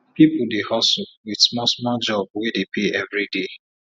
pipu dey hustle wit small small job wey dey pay everi day